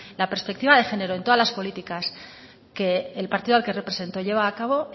la perspectiva de género en todas las políticas que el partido al que represento lleva a cabo